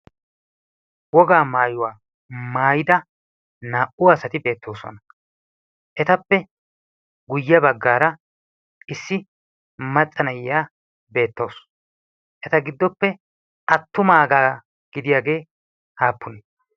Wogaa maayuwaa maayida naa'uu asati beettoosona. Etappe guyye baggaara issi maxa naa'iya beettawusu. Eta giddoppe attumaagaa gidiyaagee aappune?